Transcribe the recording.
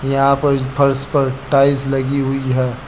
यहां पर इस फर्श पर टाइल्स लगी हुई हैं।